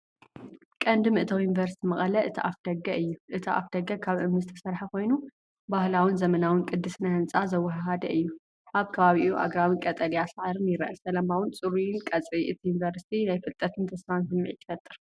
ቀንዲ መእተዊ ዩኒቨርስቲ መቐለ እቲ ኣፍደገ እዩ። እቲ ኣፍደገ ካብ እምኒ ዝተሰርሐ ኮይኑ፡ ባህላውን ዘመናውን ቅዲ ስነ ህንጻ ዘወሃሃደ እዩ። ኣብ ከባቢኡ ኣግራብን ቀጠልያ ሳዕርን ይርአ። ሰላማውን ጽሩይን ቀጽሪ እቲ ዩኒቨርሲቲ ናይ ፍልጠትን ተስፋን ስምዒት ይፈጥር።